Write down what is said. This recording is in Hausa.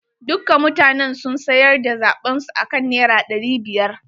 Dukka mutanen sun sayar da zaɓen su akan naira ɗari biyar.